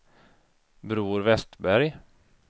Bror Westberg